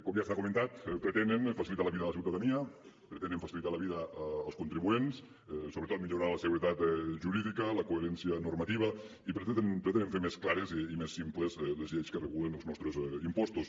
com ja s’ha comentat pretenen facilitar la vida de la ciutadania pretenen facilitar la vida als contribuents sobretot millorar la seguretat jurídica la coherència normativa i pretenen fer més clares i més simples les lleis que regulen els nostres impostos